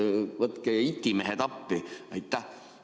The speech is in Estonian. Võtke itimehed appi!